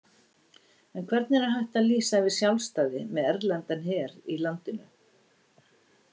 En hvernig er hægt að lýsa yfir sjálfstæði með erlendan her í landinu?